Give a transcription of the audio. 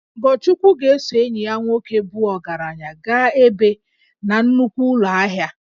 Ogochukwu ga-eso enyi ya nwoke bụ ogaranya gaa ebe na nnukwu ụlọ ahia